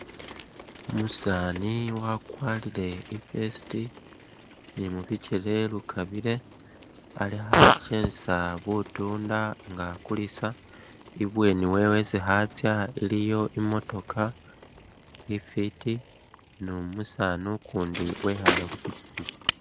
Umusaani wakwarire i’vest ni mubikele lukabire ali khakyesa butuunda nga akulisa ibweni wewe isi khatsa iliyo imotoka ifiti ni umusaani ukundi wekhale khupikyipikyi .